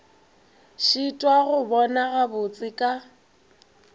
šitwa go bona gabotse ka